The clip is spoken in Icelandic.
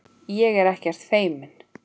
Ég er ekkert feimin.